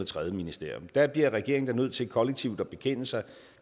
tredje ministerium der bliver regeringen da nødt til kollektivt at bekende sig